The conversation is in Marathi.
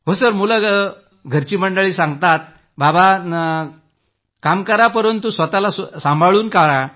हो सर मुलं घरची मंडळी सांगतात बाबा काम करा परंतु स्वतःला सांभाळून करा